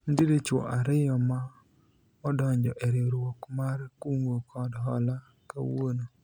nitiere chwo ariyo ma odonjo e riwruok mar kungo kod hola kawuono